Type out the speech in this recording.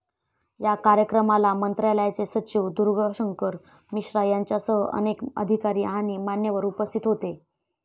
या कार्यक्रमाला मंत्रालयाचे सचिव दुर्गाशंकर मिश्रा यांच्यासह अनेक अधिकारी आणि मान्यवर उपस्थित होते